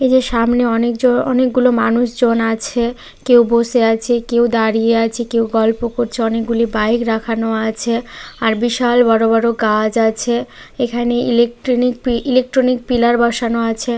এই যে সামনে অনেক জ অনেকগুলো মানুষজন আছে কেউ বসে আছে কেউ দাঁড়িয়ে আছে কেউ গল্প করছে। অনেকগুলি বাইক রাখানো আছে আর বিশাল বড়ো বড়ো গাজ আছে। এখানে ইলেকট্রনিক পি ইলেকট্রনিক পিলার বসানো আছে।